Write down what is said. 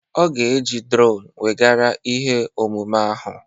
Ọ ga-eji drone weghara ihe omume ahụ